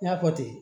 N y'a fɔ ten